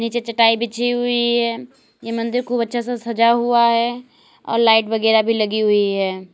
नीचे चटाई बिछी ही है यह मंदिर को अच्छा से सजा हुआ है और लाइट वगैरा भी लगी हुई है।